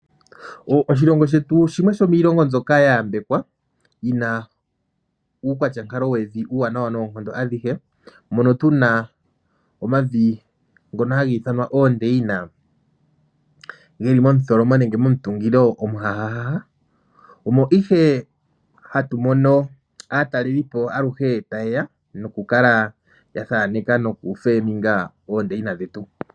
Oshilongo shetu shimwe shomiilongo mbyoka ya yambekwa, yina uukwatyankalo wevi uuwanawa noonkondo adhihe. Mono tuna omavi ngono haga ithanwa oondeyina, geli mo mutholomo nenge mo mutungilo omuhanawa. Omo ihe hatu mono aatalelipo aluhe ta yeya no ku kala ya thaneka noku panda ondeyina dhetu.